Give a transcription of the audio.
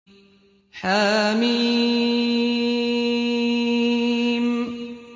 حم